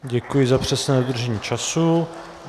Děkuji za přesné dodržení času.